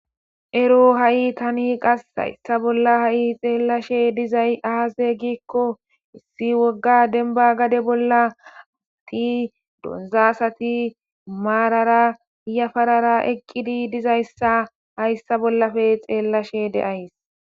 Ero ha'i tani qas hayssa bolla ha'i xeellashe dizay aaze giikko issi wogga denba gade bolla ati donzasati maarara yafarara eqqidi dizayssa hayssa bollape xeellashe deays.